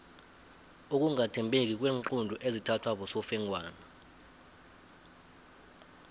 ukungathembeki kweenqundu ezithathwa bosofengwana